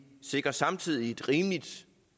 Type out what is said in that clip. sikrer samtidig et rimeligt